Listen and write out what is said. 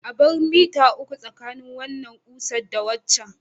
A bar mita uku tsakanin wannan ƙusar da waccan.